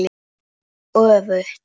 Og öfugt.